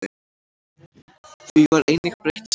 Því var einnig breytt síðar.